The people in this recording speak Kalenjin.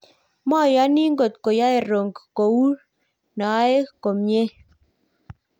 moyoni ngot koyoe Ronk kou noe komye